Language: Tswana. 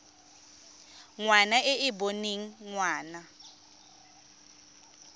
ngwana e e boneng ngwana